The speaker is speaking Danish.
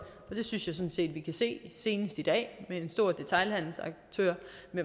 og det synes jeg sådan set vi kan se senest i dag med en stor detailhandelaktør